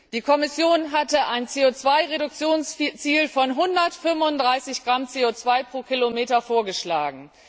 Die Kommission hatte ein CO 2 Reduktionsziel von 135 Gramm CO 2 km vorgeschlagen.